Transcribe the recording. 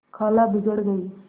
खाला बिगड़ गयीं